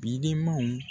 Bidenmanw